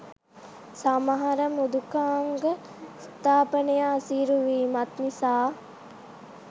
සමහර මෘදුකාංග ස්ථාපනය අසීරු වීමත් නිසා